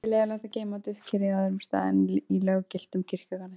Ekki er leyfilegt að geyma duftkerið á öðrum stað en í löggiltum kirkjugarði.